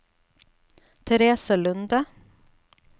Therese Lunde